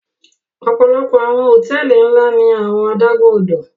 Ọpọlọpọ awọn hotẹẹli nla ni awọn adagun-odo